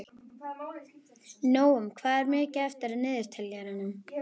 Nóam, hvað er mikið eftir af niðurteljaranum?